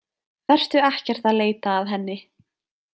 Vertu ekkert að leita að henni.